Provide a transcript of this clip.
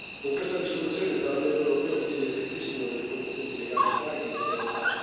Con questa risoluzione il Parlamento europeo chiede il ripristino delle condizioni di legalità e di libertà.